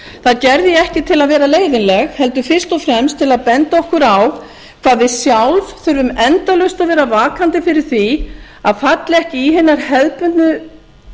það gerði ég ekki til að vera leiðinleg heldur fyrst og fremst til að benda okkur á hvað við sjálf þurfum endalaust að vera vakandi fyrir því að falla ekki í hinar hefðbundnu